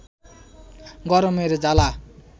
গরমের জ্বালা